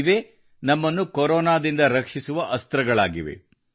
ಇವೇ ನಮ್ಮನ್ನು ಕೊರೊನಾದಿಂದ ರಕ್ಷಿಸುವ ಅಸ್ತ್ರಗಳಾಗಿವೆ